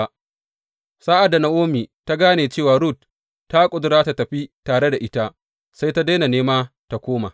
Sa’ad da Na’omi ta gane cewa Rut ta ƙudura tă tafi tare da ita, sai ta daina nema tă koma.